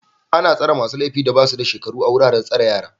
Ana tsare masu laifin da ba su da shekaru a wuraren tsare yara